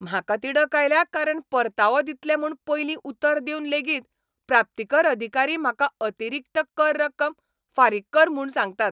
म्हाका तिडक आयल्या कारण परतावो दितले म्हूण पयलीं उतर दिवन लेगीत प्राप्तीकर अधिकारी म्हाका अतिरिक्त कर रक्कम फारीक कर म्हूण सांगतात.